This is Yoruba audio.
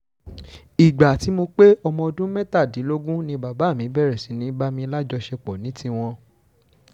ìgbà tí mo pé ọmọ ọdún mẹ́tàdínlógún ni bàbá mi bẹ̀rẹ̀ sí í bá mi lájọṣepọ̀ ní tiwọn